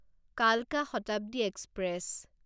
কালকা শতাব্দী এক্সপ্ৰেছ